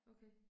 Okay